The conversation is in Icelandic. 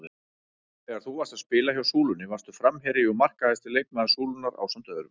Þegar þú varst að spila hjá Súlunni varstu framherji og markahæsti leikmaður Súlunnar ásamt öðrum?